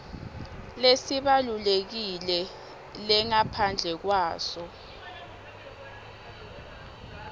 lesibalulekile lengaphandle kwaso